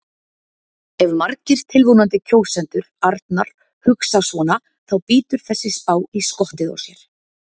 Ef margir tilvonandi kjósendur Arnar hugsa svona þá bítur þessi spá í skottið á sér.